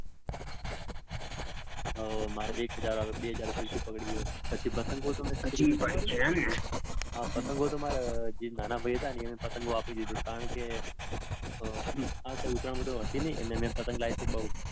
ઓ મારે એક હજાર વાર બે હજાર વાર ફીરકી પડી છે. પછી પતંગો તો મેં. હજી પણ છેને. હા પતંગો તો મેં મારા જે પતંગો આપી દીધા. કારણકે આ વખતે ઉત્તરાયણ બૌ હતી નઈ ને મેં પતંગ લાઈ તી બૌ.